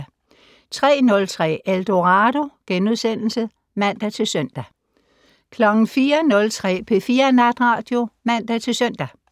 03:03: Eldorado *(man-søn) 04:03: P4 Natradio (man-søn)